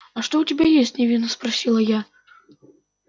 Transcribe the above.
а что у тебя есть невинно спросила я